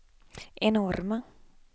enorma